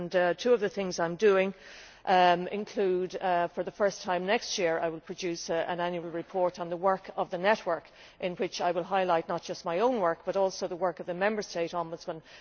Two of the things I am doing include, for the first time next year, producing an annual report on the work of the Network, in which I will highlight not just my own work but also the work of the Member State ombudsmen.